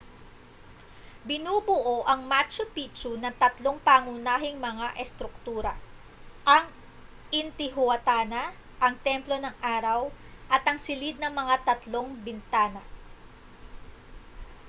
binubuo ang machu pichu ng tatlong pangunahing mga estruktura ang intihuatana ang templo ng araw at ang silid ng tatlong mga bintana